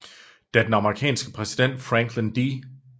Da den amerikanske præsident Franklin D